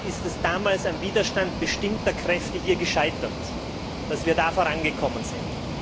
Leider ist es damals am Widerstand bestimmter Kräfte hier gescheitert, dass wir da vorangekommen sind.